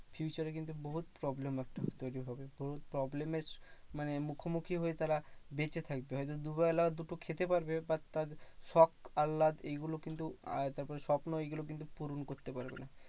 Future এ কিন্তু বহুত problem আসতে তৈরী হবে। তোর problem এর মানে মুখোমুখি হয়ে তারা বেঁচে থাকবে। হয়তো দুবেলা দুটো খেতে পারবে বা তার শোক আল্লাদ এইগুলো কিন্তু আহ তারপরে স্বপ্ন এইগুলো কিন্তু পূরণ করতে পারবে না।